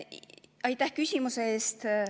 Aitäh küsimuse eest!